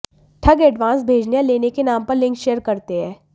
ठग एडवांस भेजने या लेने के नाम पर लिंक शेयर करते हैं